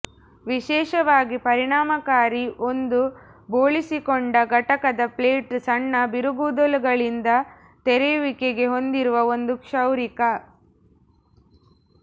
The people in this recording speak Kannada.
ವಿಶೇಷವಾಗಿ ಪರಿಣಾಮಕಾರಿ ಒಂದು ಬೋಳಿಸಿಕೊಂಡ ಘಟಕದ ಪ್ಲೇಟ್ ಸಣ್ಣ ಬಿರುಗೂದಲುಗಳಿಂದ ತೆರೆಯುವಿಕೆಗೆ ಹೊಂದಿರುವ ಒಂದು ಕ್ಷೌರಿಕ